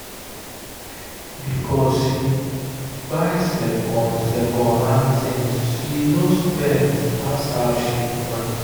because she buy second second hand things she no spend pass how she plan.